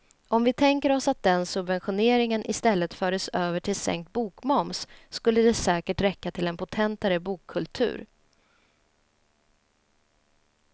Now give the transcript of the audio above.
Om vi tänker oss att den subventioneringen i stället fördes över till sänkt bokmoms skulle det säkert räcka till en potentare bokkultur.